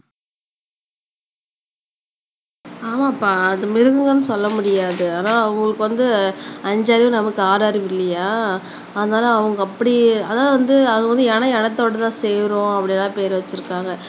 ஆமாப்பா அது மிருகம்னு சொல்ல முடியாது அதான் உங்களுக்கு வந்து அஞ்சறிவு நமக்கு ஆறறிவு இல்லையா அதனால அவங்க அப்படியே அதான் அது வந்து அது இனம் இனத்தோடு தான் சேரும் அப்படின்னு எல்லாம் பேர் வச்சிருக்காங்க